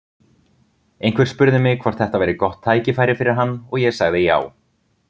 Einhver spurði mig hvort þetta væri gott tækifæri fyrir hann og ég sagði já.